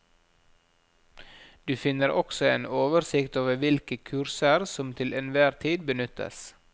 Du finner også en oversikt over hvilke kurser som til enhver tid benyttes.